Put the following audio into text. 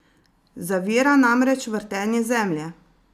Zavira namreč vrtenje Zemlje!